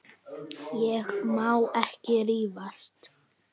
Ég má ekki rífast.